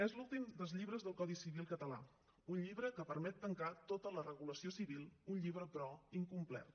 és l’últim dels llibres del codi civil català un llibre que permet tancar tota la regulació civil un llibre però incomplet